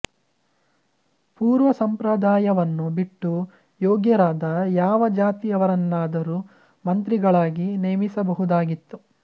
ಪೂರ್ವ ಸಂಪ್ರದಾಯವನ್ನು ಬಿಟ್ಟು ಯೋಗ್ಯರಾದ ಯಾವ ಜಾತಿಯವರನ್ನಾದರೂ ಮಂತ್ರಿಗಳಾಗಿ ನೇಮಿಸಬಹುದಾಗಿತ್ತು